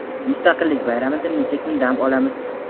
Mustaqillik bayramida necha kun dam olamiz?.